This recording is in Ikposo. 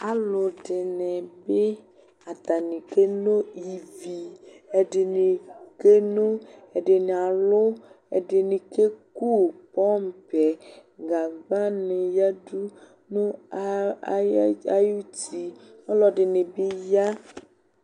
Alʋdɩnɩ bɩ atanɩ keno ivi Ɛdɩnɩ keno, ɛdɩnɩ alʋ, ɛdɩnɩ keku pɔmpɩ yɛ Gagbanɩ yǝdu nʋ aya ɩts ayuti Ɔlɔdɩnɩ bɩ ya